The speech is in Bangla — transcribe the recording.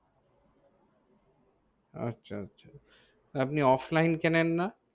আচ্ছা আচ্ছা আপনি Offline কেনেন না?